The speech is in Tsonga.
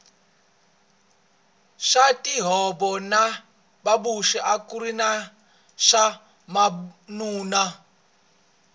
swa tinjhovo na mabusi akuri swa vanuna